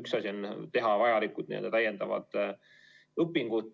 Üks asi on teha vajalikud täiendavad õpingud